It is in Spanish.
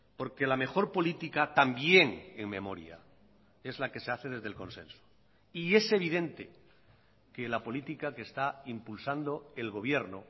porque la mejor política también en memoria es la que se hace desde el consenso y es evidente que la política que está impulsando el gobierno